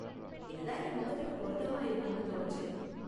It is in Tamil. இது தான் என் முகத்துக்கு பொருத்தமா இருக்கும்னு தோணுச்சு.